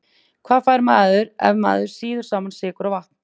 Hvað fær maður ef maður sýður saman sykur og vatn?